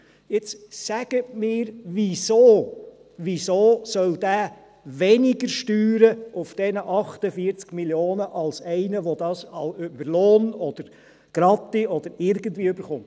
Jetzt sagen Sie mir, wieso, wieso soll dieser weniger Steuern auf diesen 48 Mio. Franken bezahlen, als einer, der das über Lohn, Gratifikation oder sonst irgendwie bekommt.